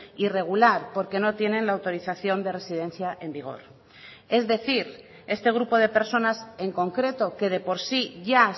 irregular porque no tienen la autorización de residencia en vigor es decir este grupo de personas en concreto que de por sí ya